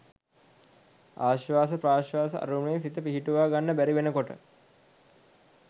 ආශ්වාස ප්‍රාශ්වාස අරමුණේ සිත පිහිටුවා ගන්න බැරි වෙන කොට